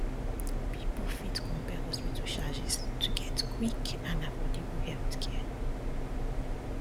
people fit compare hospital charges to get quick and quick and affordable healthcare